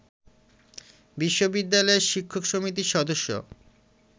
বিশ্ববিদ্যালয়ের শিক্ষক সমিতির সদস্য